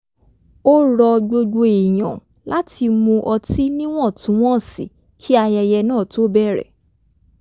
ó ro̩ gbogbo èèyàn láti mu ọtí níwọ̀ntúnwọ̀nsì kí ayẹyẹ náà tó bẹ̀rẹ̀